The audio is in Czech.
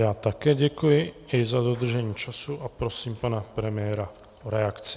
Já také děkuji i za dodržení času a prosím pana premiéra o reakci.